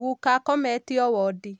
Guka akometio wóndi